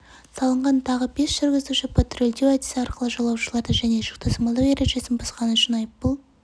салынған тағы бес жүргізуші патрульдеу әдісі арқылы жолаушыларды және жүк тасымалдау ережесін бұзғаны үшін айыппұл